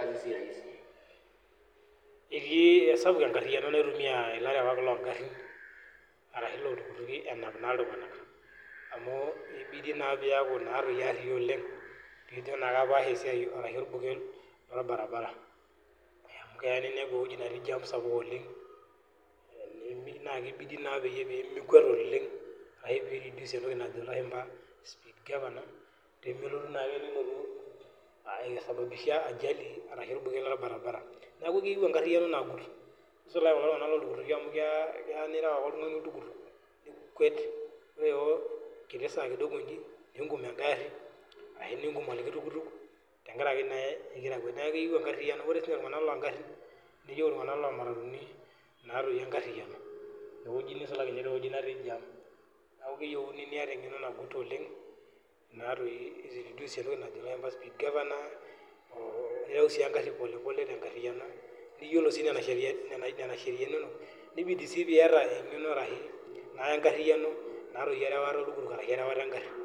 Esapuk enkariano naitumia elarewak loo garin ashu elo iltukutuki naa enap iltung'ana amu ebidi naa pee eyaku ariyia oleng pee ejo naa apasha orbuket loorbaribara amu keya ninepu ewueji netii jam sapuk oleng naa kibidii pee mikwet oleng epik sii entoki najo elashumba speed governor pee melotu ake nilotu asaibabisha ajali ashu orbuket loorbaribara neeku keyieu enkariano naguut nisulaki kulo tung'ana loo iltukutuki amu keya nirew ake oltung'ani oltukutuk nikwet enkita saa kidogo ninkuum egari ashu enkum likae tukutuk tenkaraki egira akwet ore iltung'ana loo garin iltung'ana loo matatuni neyieu enkariano nisulaki duo tewueji nitii neeku keyieu niata eng'eno naguut nireduce entoki najo elashumba speed governor nirew sii egari polepole niyiolo sii Nena sheriani enono nibidi sii piata enkariano erewata oltukutuk ashu erewata egari